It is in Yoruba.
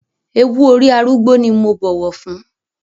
Ewú orí arúgbó ni mo bọ̀wọ̀ fún.